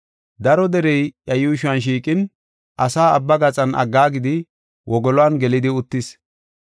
Daro derey iya yuushuwan shiiqin asaa abba gaxan aggaagidi wogolon gelidi uttis.